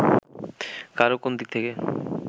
কারো কোনদিক থেকে